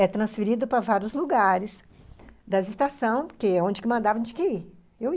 É transferido para vários lugares das estações, porque onde que mandava a gente tinha que ir.